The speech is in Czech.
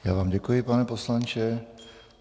Já vám děkuji, pane poslanče.